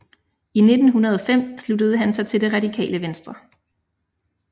I 1905 sluttede han sig til Det Radikale Venstre